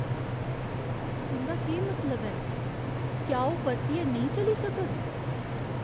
तुं'दा केह् मतलब ऐ? क्या ओह् परतियै नेईं चली सकग?